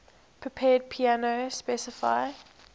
prepared piano specify